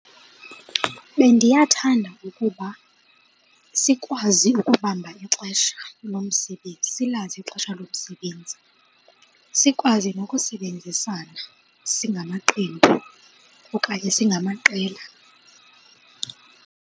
Bendiyathanda ukuba sikwazi ukubamba ixesha lomsebenzi, silazi ixesha lomsebenzi, sikwazi nokusebenzisana singamaqembu okanye singamaqela.